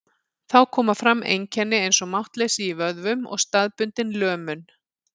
Þá koma fram einkenni eins og máttleysi í vöðvum og staðbundin lömun.